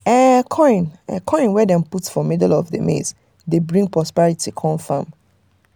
coin coin wey dem put for middle of maize dey bring prosperity come farm.